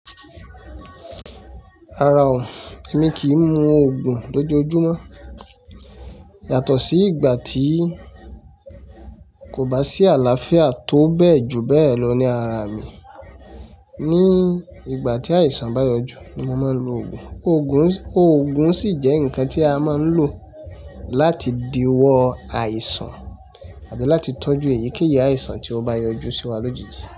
Rárá o, èmi kì í mu ogùn lójoojúmọ́ yàtọ̀ sí ìgbà tí kò bá sí àlàáfíà tó bẹ́ẹ̀ ju bẹ́ẹ̀ lọ ní ara mi. Ni ìgbà tí àìsàn bá yọjú ni mo máa ń lo oògùn. Oògùn sì jẹ́ nǹkan tí a máa ń lò láti diwọ́ àìsàn àbí láti tọ́jú èyíkéyìí àìsàn tí ó bá yọjú sí wa lójijì.